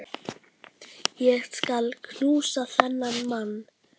Ég skal knúsa þennan mann!